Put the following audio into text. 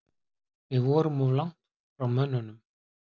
Við vorum of langt frá mönnunum.